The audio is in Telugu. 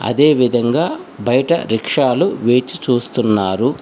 అదేవిధంగా బయట రిక్షాలు వేచి చూస్తున్నారు.